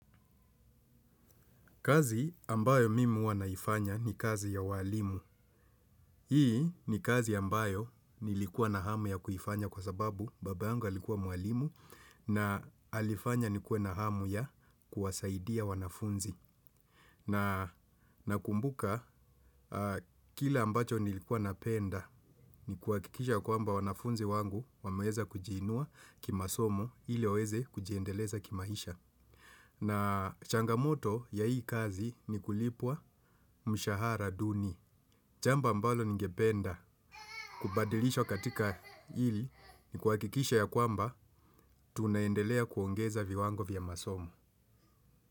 Kazi ambayo mimi huwa naifanya ni kazi ya ualimu. Hii ni kazi ambayo nilikuwa na hamu ya kuifanya kwa sababu baba yangu alikuwa mwalimu na alifanya nikuwe na hamu ya kuwasaidia wanafunzi. Na kumbuka kile ambacho nilikuwa napenda ni kuhakikisha kwamba wanafunzi wangu wameweza kujiinua kimasomo ili waweze kujiendeleza kimaisha. Na changamoto ya hii kazi ni kulipwa mshahara duni. Jambo ambalo ningependa kubadilishwa katika ili kuhakikisha yakwamba tunaendelea kuongeza viwango vya masomo.